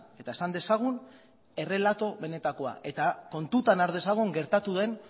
eta esan dezagun errelatu benetakoa eta kontutan har dezagun gertatu den